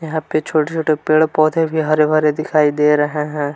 यहां पे छोटे छोटे पेड़ पौधे भी हरे भरे दिखाई दे रहे हैं।